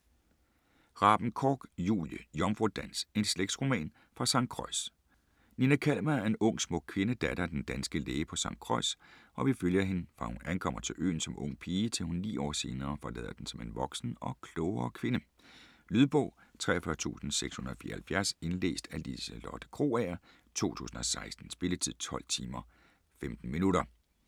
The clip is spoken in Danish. Raben-Korch, Julie: Jomfrudans: en slægtsroman fra Sankt Croix Nina Kalmer er en ung smuk kvinde, datter af den danske læge på St. Croix, og vi følger hende fra hun ankommer til øen som ung pige til hun 9 år senere forlader den som en voksen og klogere kvinde. Lydbog 43674 Indlæst af Liselotte Krogager, 2016. Spilletid: 12 timer, 15 minutter.